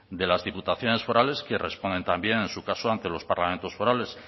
de las diputaciones forales que responden también en su caso ante los parlamentos forales